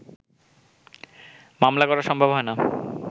মামলা করা সম্ভব হয়না